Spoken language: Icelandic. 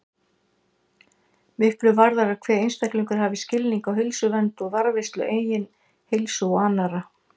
Miklu varðar að hver einstaklingur hafi skilning á heilsuvernd og varðveislu eigin heilsu og annarra.